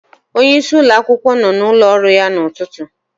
Onyeisi ụlọakwụkwọ nọ n'ụlọ ọrụ ya n'ụtụtụ.